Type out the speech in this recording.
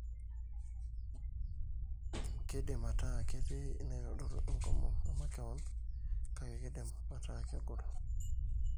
keidim aataa ketii inaitodolu enkomom emakewon, kake keidim ataa kegol.